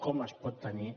com es pot tenir